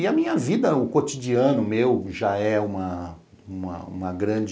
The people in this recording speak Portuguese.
E a minha vida, o cotidiano meu já é uma uma uma grande